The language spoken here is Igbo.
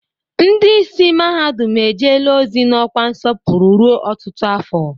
Ndị ìsì mahadum ejele ozi n'ọkwa nsọpụrụ ruo ọtụtụ afọ.